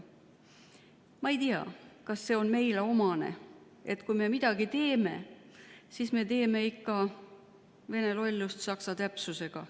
Ma ei tea, kas see on meile omane, et kui me midagi teeme, siis teeme ikka vene lollust saksa täpsusega.